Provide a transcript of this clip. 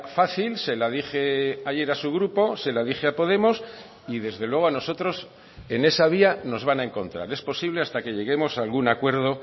fácil se la dije ayer a su grupo se la dije a podemos y desde luego a nosotros en esa vía nos van a encontrar es posible hasta que lleguemos a algún acuerdo